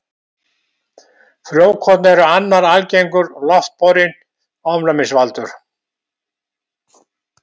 Frjókorn eru annar algengur loftborinn ofnæmisvaldur.